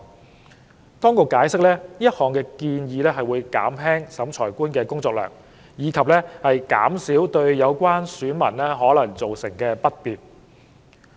政府當局解釋，此項建議會減輕審裁官的工作量，以及減少對有關選民可能造成的不便。